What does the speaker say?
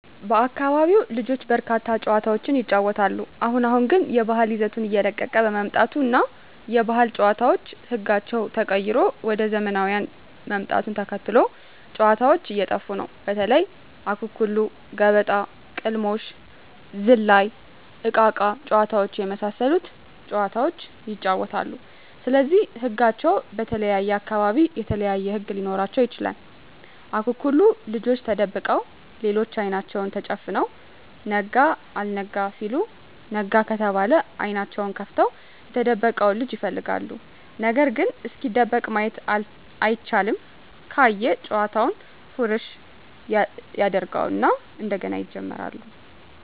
በአካቢው ልጆች በርካታ ጨዋታዎችን ይጫወታሉ አሁን አሁን ግን የባህል ይዘቱን እየለቀቀ በመምጣቱ እና የባህል ጨዋታዎች ህጋቸው ተቀይሮ ወደ ዘመናውያን ምጣቱን ተከትሎ ጨዎታዎች እየጠፉ ነው በተለይ:- አኩኩሉ ገበጣ: ቅልሞሽ ዝላይ እቃቃ ጨዎታ የመሣሠሉት ጨዋታዎች ይጫወታሉ ስለዚህ ህጋቸው በተለየየ አካባቢ የተለያዩ ህግ ሊኖራቸው ይችላል አኩኩሉ ልጆች ተደብቀው ሌሎች አይናቸውን ተጨፍነው ነጋ አልጋ ሲሉ ነጋ ከተባለ አይኔናቸውን ከፍተው የተደበቀውን ልጅ ይፈልጋሉ ነገርግ እስኪደበቅ ማየት አይቻልም ካየ ጨዋታውን ፉረሽ ያጀርገው እና እንደገና ይጀምራሉ።